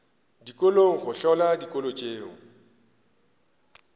dikolong go hlola dikolo tšeo